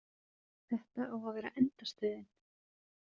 Þetta á að vera endastöðin.